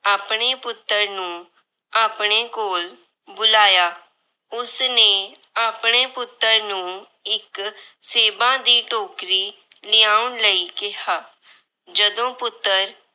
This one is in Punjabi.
ਆਪਣੇ ਪੁੱਤਰ ਨੂੰ ਆਪਣੇ ਕੋਲ ਬੁਲਾਇਆ। ਉਸਨੇ ਆਪਣੇ ਪੁੱਤਰ ਨੂੰ ਇੱਕ ਸੇਬਾਂ ਦੀ ਟੋਕਰੀ ਲਿਆਉਣ ਲਈ ਕਿਹਾ। ਜਦੋਂ ਪੁੱਤਰ